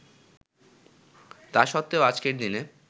তা সত্ত্বেও আজকের দিনে